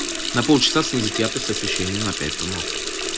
на полчаса снизить яркость освещения на пять тонов